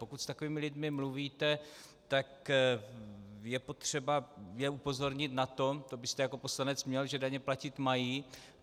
Pokud s takovými lidmi mluvíte, tak je potřeba je upozornit na to, to byste jako poslanec měl, že daně platit mají.